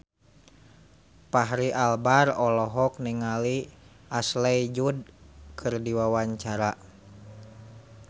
Fachri Albar olohok ningali Ashley Judd keur diwawancara